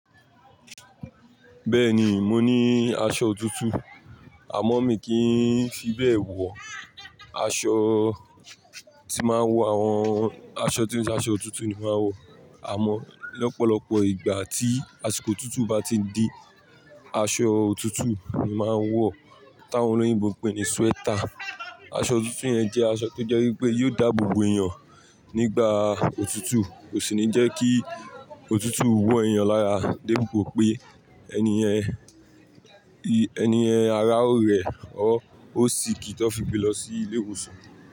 Bẹ́ẹ̀ni, mo ní aṣọ òtútù, àmọ́ mi kì í fi bẹ́ẹ̀ wọ. Aṣọ tí máa wọ, àwọn aṣọ tó jẹ́ aṣọ òtútù ni máa wọ, àmọ́ lọ́pọ̀lọpọ̀ ìgbà tí àsìkò òtútù bá ti di, aṣọ òtútù ni máa ń wọ. Tàwọn olóyìnbo ń pè ní sweater. Aṣọ òtútù yẹn jẹ́ aṣọ tó jẹ́ wípé yóò dáàbò bo èèyàn nígbà òtútù, kò sì ní jẹ́ kí òtútù wọ èèyàn lára dépo pé ẹni ẹni ara ò rẹ̀ or ó sick ti won fi gbẹ lọ sí ilé ìwòsàn.